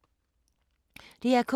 DR K